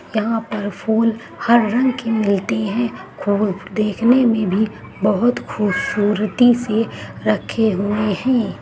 यहाँ पर फूल हर रंग की मिलती है और देखने में भी बहुत खूबसूरती से रखे हुए हैं।